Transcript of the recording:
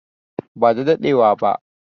ba da daɗewa wa ba